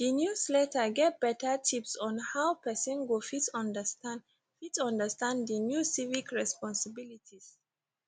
di newsletter get better tips on how pesin go fit understand fit understand di new civic responsibilities